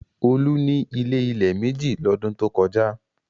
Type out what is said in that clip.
Olú ní ilé-ilẹ̀ méjì lọ́dún tó kọjá.